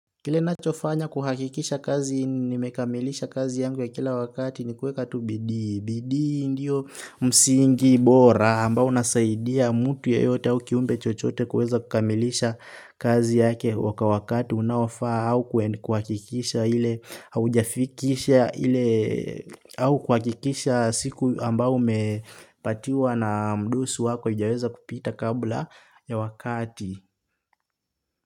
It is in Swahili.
Kile nachofanya kuhakikisha kazi nimekamilisha kazi yangu ya kila wakati ni kuweka tu bidii, bidii ndiyo msingi bora ambao unasaidia mtu yeyote au kiumbe chochote kuweza kukamilisha kazi yake wakati unaofaa au kuhakikisha siku ambayo umepatiwa na mdosi wako haijaweza kupita kabla ya wakati.